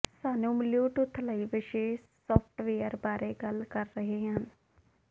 ਸਾਨੂੰ ਬਲਿਊਟੁੱਥ ਲਈ ਵਿਸ਼ੇਸ਼ ਸਾਫਟਵੇਅਰ ਬਾਰੇ ਗੱਲ ਕਰ ਰਹੇ ਹਨ